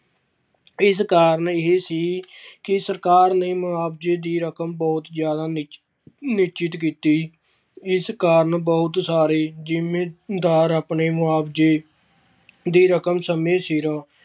ਇਸ ਕਾਰਨ ਇਹ ਸੀ ਕਿ ਸਰਕਾਰ ਨੇ ਮੁਆਵਜ਼ੇ ਦੀ ਰਕਮ ਬਹੁਤ ਜ਼ਿਆਦਾ ਨਿਸ਼~ ਨਿਸ਼ਚਿਤ ਕੀਤੀ, ਇਸ ਕਾਰਨ ਬਹੁਤ ਸਾਰੇ ਜ਼ਿੰਮੀਦਾਰ ਆਪਣੇ ਮੁਆਵਜ਼ੇ ਦੀ ਰਕਮ ਸਮੇਂ ਸਿਰ